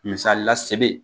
Musalila sebe